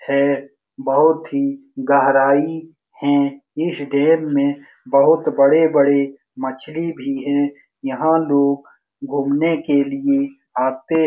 हैं बहुत ही गहराई है इस डैम में बहुत बड़े-बड़े मछली भी है यहाँ लोग घूमने के लिए आते है।